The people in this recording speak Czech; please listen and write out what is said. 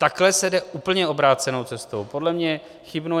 Takhle se jde úplně obrácenou cestou, podle mne chybnou.